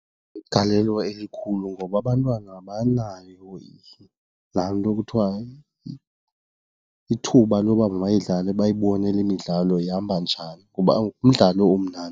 Inegalelo elikhulu ngoba abantwana abanayo laa nto kuthiwa ithuba loba mabayidlale bayibone le midlalo ihamba njani ngoba ngumdlalo omnandi.